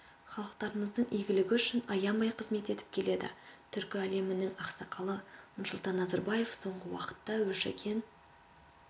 халықтарымыздың игілігі үшін аянбай қызмет етіп келеді түркі әлемінің ақсақалы нұрсұлтан назарбаев соңғы уақытта өршіген